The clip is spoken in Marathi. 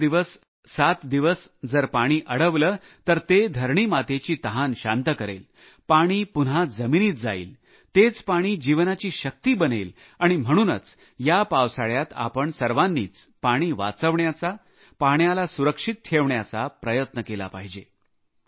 पाच दिवस सात दिवस जर पाणी अडवले तर धरणी मातेची तहान शांत करेल पाणी पुन्हा जमिनीत जाईल तेच पाणी जीवनाची शक्ती बनेल आणि म्हणूनच या पावसाळ्यात आपण सर्वांनीच पाणी वाचविण्याचा पाण्याला सुरक्षित ठेवण्याचा प्रयत्न केला पाहिजे